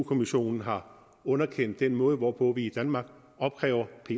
kommissionen har underkendt den måde hvorpå vi i danmark opkræver